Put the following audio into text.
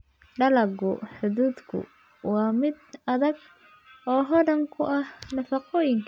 Dalagga hadhuudhku waa mid adag oo hodan ku ah nafaqooyinka.